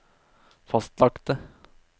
fastlagte